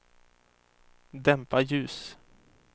dämpa ljus